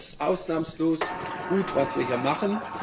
Ich finde es ausnahmslos gut, was wir hier machen.